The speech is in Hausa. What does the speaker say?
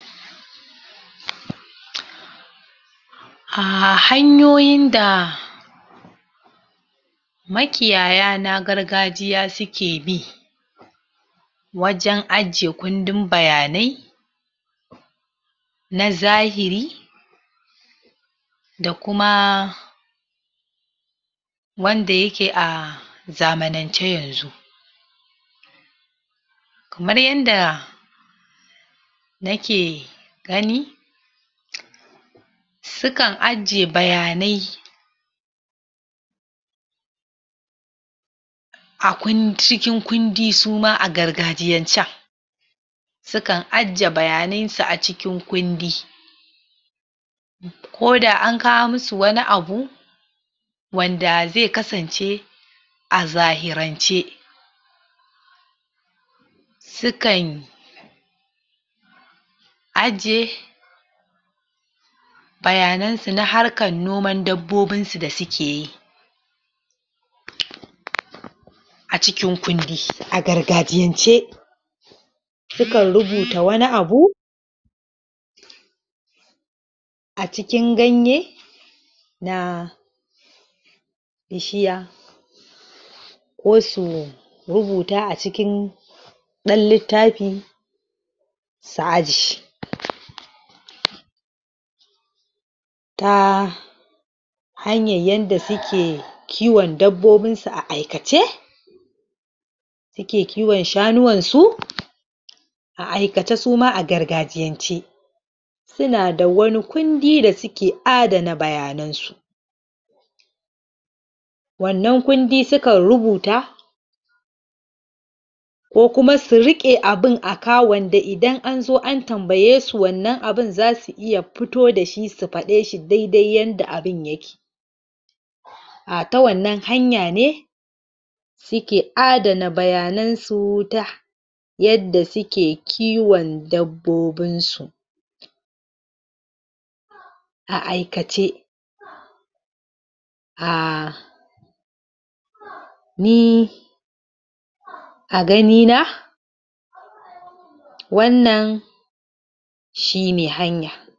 Ah hanyoyin da makiyaya na gargajiya suke bi wajen ajiye kundin bayanai na zahiri da kuma wanda yake a zamanance yanzu kamar yanda nake gani sukan ajiye bayanai a cikin kundi suma a gargajiyancen sukan ajiye bayanan su a cikin kundi koda an kawo musu wani abu wanda zai kasance a zahirance sukan ajiye bayanan su harkan noman dabbobin su da suke yi a cikin kundi a gargajiyance sukan rubuta wani abu a cikin ganye na bishiya ko su rubuta a cikin ɗan littafi su ajiye ta hanyar yadda suke kiwon dabbobin su a aikace suke kiwon shanuwan su a aikace su ma a gargajiyance suna da wani kundi da suke adana bayanan su wannan kundi sukan rubuta ko kuma su riƙe abin aka wanda idan an zo an tambaye su wannan abin zasu iya fito da shi su faɗe shi dai-dai yanda abin yake a ta wannan hanya ne suke adana bayanan su ta yadda suke kiwon dabbobin su a aikace a ni a gani na wannan shi ne hanya.